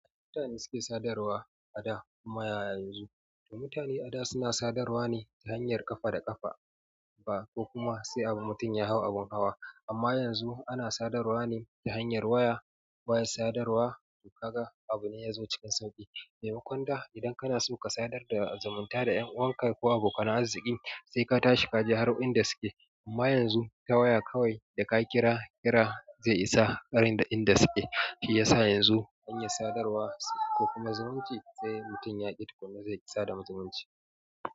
Mutane suke sadarwa a da kuma yanzu. Mutane a da suna sadarwa ne ta hanyar ƙafa da ƙafa ba ko kuma sai abun mutum ya hau abun hawa. Amma yanzu ana sadarwa ne ta hanyar waya. Waya sadarwa kaga abu ne ya zo cikin sauƙi. Maimakon da idan kana so ka sadar da zumunta da ƴan uwanka ko abokan arziki, sai ka tashi ka je har inda suke. Amma yanzu ta waya kawai da ka kiraz kira zai isa garin da inda suke. Shi yasa yanzu hanyar sadarwa ko kuma zumunci sai mutum ya ƙi tukuna zai sa da zumunci.